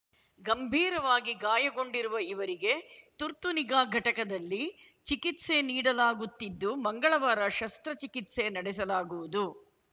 ಗಂಭೀರವಾಗಿ ಗಾಯಗೊಂಡಿರುವ ಇವರಿಗೆ ತುರ್ತುನಿಗಾ ಘಟದಲ್ಲಿ ಚಿಕಿತ್ಸೆ ನೀಡಲಾಗುತ್ತಿದ್ದು ಮಂಗಳವಾರ ಶಸ್ತ್ರ ಚಿಕಿತ್ಸೆ ನಡೆಸಲಾಗುವುದು